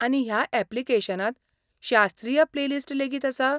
आनी ह्या ऍप्लिकेशनांत शास्त्रीय प्लेलिस्ट लेगीत आसा?